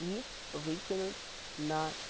и выкинуть на